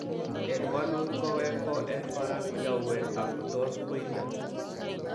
En wlut. kowek ko en kora ko nyauwen ak tos ko ilio .